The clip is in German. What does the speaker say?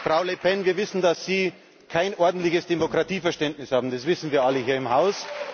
Frau Le Pen! Wir wissen, dass Sie kein ordentliches Demokratieverständnis haben. Das wissen wir alle hier im Haus.